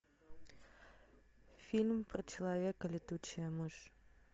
фильм про человека летучая мышь